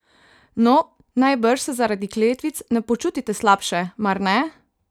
No, najbrž se zaradi kletvic ne počutite slabše, mar ne?